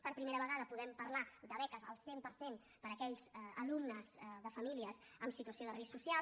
per primera vegada podem parlar de beques al cent per cent per a aquells alumnes de famílies en situació de risc social